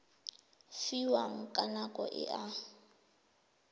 fiwang ka nako e a